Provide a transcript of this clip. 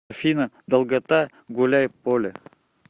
афина долгота гуляйполе